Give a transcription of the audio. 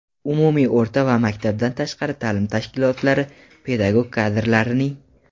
umumiy o‘rta va maktabdan tashqari taʼlim tashkilotlari pedagog kadrlarining.